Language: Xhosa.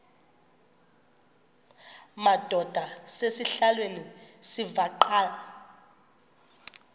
madod asesihialweni sivaqal